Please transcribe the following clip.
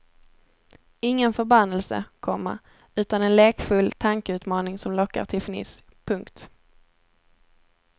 Ingen förbannelse, komma utan en lekfull tankeutmaning som lockar till fniss. punkt